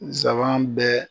Nsaban bɛɛ.